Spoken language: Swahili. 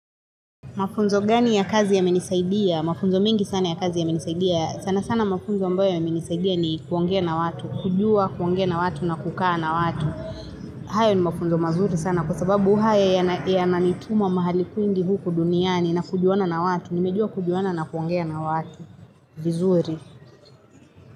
Mafunzo gani ya kazi yamenisaidia? Mapunzo mingi sana ya kazi ya menisaidia. Sana sana mafunzo mbayo yamenisaidia ni kuongea na watu. Kujua, kuongea na watu na kukaa na watu. Hayo ni mafunzo mazuri sana kwasababu haya yanatumiwa mahali kwingi huku duniani na kujuana na watu. Nimejua kujuana na kuongea na watu. Vizuri.